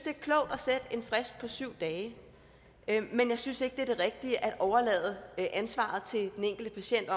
er klogt at sætte en frist på syv dage men jeg synes ikke det er det rigtige at overlade ansvaret til den enkelte patient